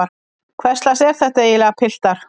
Hverslags er þetta eiginlega piltar?